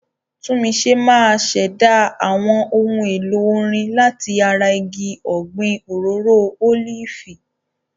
Tunmise máa ṣẹ̀dá àwọn ohun èlò orin láti ara igi ọ̀gbìn òróró ólífì.